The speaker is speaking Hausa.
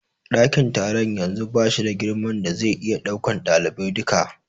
Ɗakin taron yanzu bashi da girman da zai iya ɗaukan ɗaliban duka.